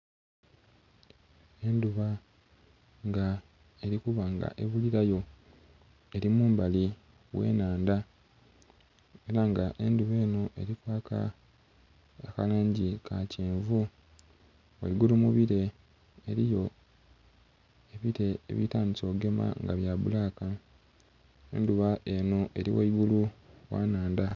Enduba nga eli kuba nga ebulirayo, eli mumbali gh'enhandha, ela nga endhuba eno eli kwaka akalangi ka kyenvu. Ghaigulu mu bire eliyo ebire ebitandise ogema nga bya bbulaka, endhuba enho eli ghaigulu gha nnhandha.